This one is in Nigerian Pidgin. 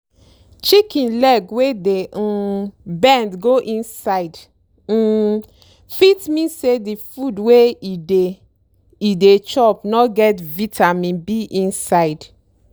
cow wey dey comot saliva for mouth too much fit be say na heat wahala dey worry am or e throat don block.